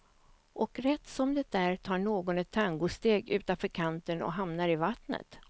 Och rätt som det är tar någon ett tangosteg utanför kanten och hamnar i vattnet.